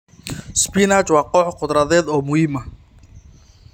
Spinach waa koox khudradeed oo muhiim ah.